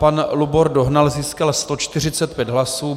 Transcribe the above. Pan Lubor Dohnal získal 145 hlasů.